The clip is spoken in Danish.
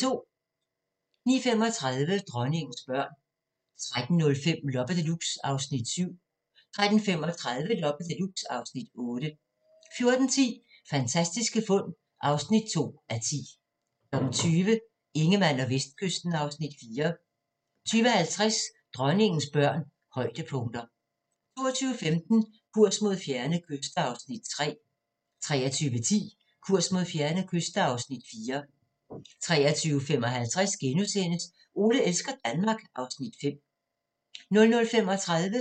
09:35: Dronningens børn 13:05: Loppe Deluxe (Afs. 7) 13:35: Loppe Deluxe (Afs. 8) 14:10: Fantastiske fund (2:10) 20:00: Ingemann og Vestkysten (Afs. 4) 20:50: Dronningens børn – højdepunkter 22:15: Kurs mod fjerne kyster (Afs. 3) 23:10: Kurs mod fjerne kyster (Afs. 4) 23:55: Ole elsker Danmark (Afs. 5)* 00:35: Grænsepatruljen